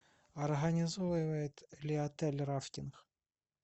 организовывает ли отель рафтинг